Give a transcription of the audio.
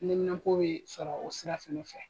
Nɛminanpo bɛ sɔrɔ o sira fana fɛ